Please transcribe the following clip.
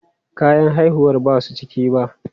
Kayan haihuwar ba su cika ba.